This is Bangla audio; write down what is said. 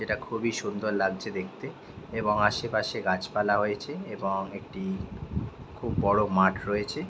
এটা খুবই সুন্দর লাগছে দেখতে এবং আশেপাশে গাছ পালা হয়েছে এবং একটি খুব বড় মাঠ রয়েছে।